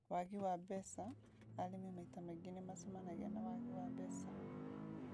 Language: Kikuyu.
Wagi wa mbeca: Arĩmi maita maingĩ nĩ macemanagia na wagi wa mbeca